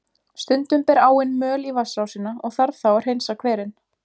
Stundum ber áin möl í vatnsrásina, og þarf þá að hreinsa hverinn.